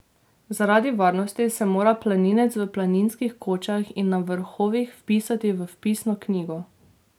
Zaradi varnosti se mora planinec v planinskih kočah in na vrhovih vpisati v vpisno knjigo.